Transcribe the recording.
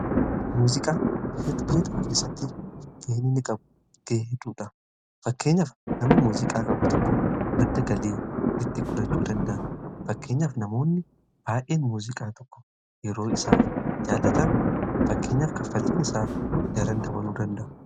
Muuziqaa biyya tokko keessatti ga'en inni qabu guddaadha. Fakkeenyaaf nama muuziqaa qabu tokko madda galii itti gudhachuu danda'a. Fakkeenyaf namoonni baay'een muuziqaa tokko yeroo isaaf jaalatan fakkeenyaf kaffaltiin isaa daran dabaluu danda'a.